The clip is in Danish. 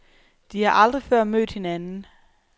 De har aldrig før mødt hinanden.